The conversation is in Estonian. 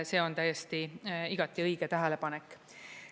See on täiesti, igati õige tähelepanek.